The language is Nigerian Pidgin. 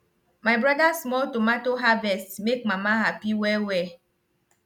my brother small tomato harvest make mama happy wellwell